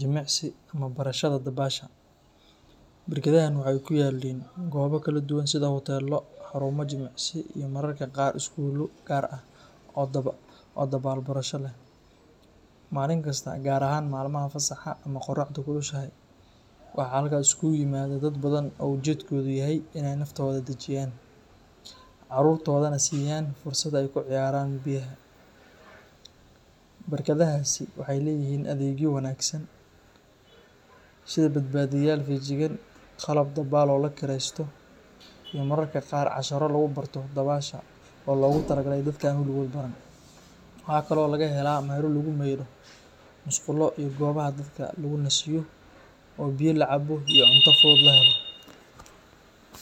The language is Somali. jimiicsi iyo barshada dabsaha. Barakadahan waxay kuyalin gooba kala duwan sida Hoteelo, xaruma jimicsi mararka qaar Skuula qaar o dabal barasha leeh manin kasta gar ahan malmaha fasaxa o oraxda kulushahay waxa halkas isugu imada dad badan u ujed kogu yahay inay naftooda dajiyan carurtodana siyan fursad ay kaciyaran. Barakadahasi waxay leyahin adegyo wanagsan sida badbaadiya feejigan qalab dabal o lakireysto i mararka qaar casharo lagubarto dabaasha o logu talagalay dadka an waligood baran waxa kale o lagahela mela lagu meydhu Musqulo iyo gubaha dadka lagu nasiyo, o biyo lacaabo iyo cunta fudud lahelo